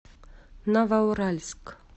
новоуральск